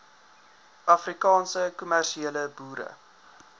afrikaanse kommersiële boere